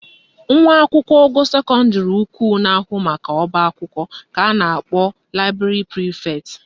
Nwa akwụkwọ ogo sekọndịrị ukwu na-ahụ maka ọbaakwụkwọ ka a na-akpọ library prefect